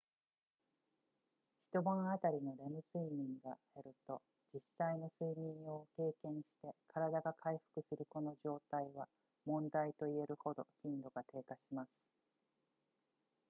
一晩あたりのレム睡眠が減ると実際の睡眠を経験して体が回復するこの状態は問題と言えるほど頻度が低下します